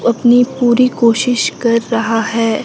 अपनी पूरी कोशिश कर रहा है।